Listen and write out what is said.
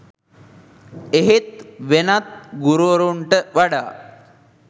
එහෙත් වෙනත් ගුරුවරුන්ට වඩා